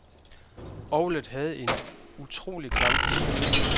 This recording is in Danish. Orglet havde en utrolig klangfylde.